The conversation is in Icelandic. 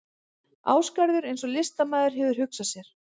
Ásgarður eins og listamaður hefur hugsað sér hann.